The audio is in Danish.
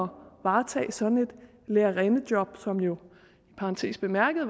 varetage sådan et lærerindejob som jo i parentes bemærket